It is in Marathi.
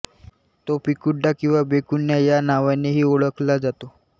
तो पिक्युडा किंवा बेक्युना या नावानेही ओळखला जातो